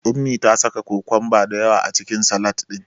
Ummi ta saka kokomba da yawa a cikin Salad ɗin.